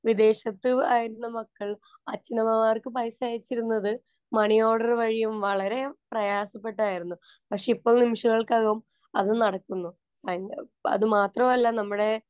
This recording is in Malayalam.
വിദേശത്തായിരുന്ന മക്കള്‍ അച്ഛനമ്മമാര്‍ക്ക് പൈസ അയച്ചിരുന്നത് മണി ഓര്‍ഡര്‍ വഴിയും വളരെ പ്രയാസപ്പെട്ടും ആയിരുന്നു. പക്ഷേ ഇപ്പോള്‍ നിമിഷങ്ങള്‍ക്കകം അത് നടക്കുന്നു. അതുമാത്രമല്ല, നമ്മുടെ